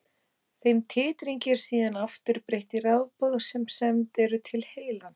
Þeim titringi er síðan aftur breytt í rafboð sem send eru til heilans.